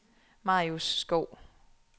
Marius Skov